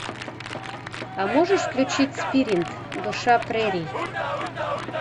а можешь включить спирит душа прерий